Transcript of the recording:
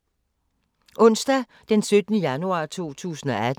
Onsdag d. 17. januar 2018